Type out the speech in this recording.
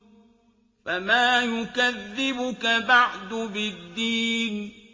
فَمَا يُكَذِّبُكَ بَعْدُ بِالدِّينِ